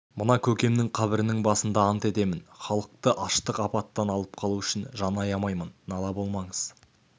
мына көкемнің қабірінің басында ант етемін халықты аштық апаттан алып қалу үшін жан аямаймын нала болмаңыз